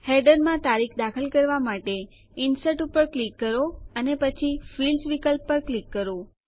હેડરમાં તારીખ દાખલ કરવા માટે ઇન્સર્ટ ઉપર ક્લિક કરો અને પછી ફિલ્ડ્સ વિકલ્પ પર ક્લિક કરો